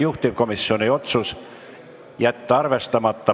Juhtivkomisjoni otsus: jätta arvestamata.